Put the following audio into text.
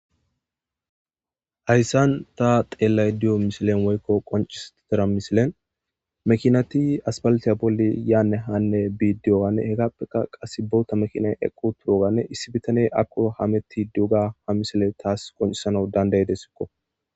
Hayssan ta xeellay diyo mishilen woykko qoncistara misilen mekinati aspalatiya bolle yaanne hanne biidiyowanne hekappeka qass bowota mekina eqqu turoganne issi bitane akko hametti duuga ha misile taas qoncisana dandaydesikko.